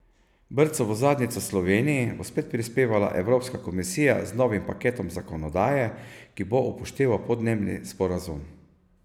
Brco v zadnjico Sloveniji bo spet prispevala evropska komisija z novim paketom zakonodaje, ki bo upošteval podnebni sporazum.